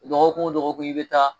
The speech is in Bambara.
Dɔgɔkun wo dɔgɔkun i bɛ taa.